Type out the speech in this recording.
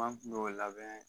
Fan kulo o labɛn